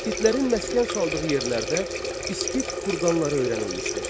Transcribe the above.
İskitlərin məskən saldığı yerlərdə İskit kurqanları öyrənilmişdir.